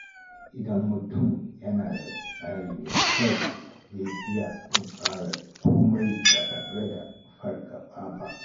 Idan mutum yana da tsari mai kyau, zai iya tunkarar komai ba tare da fargaba ba.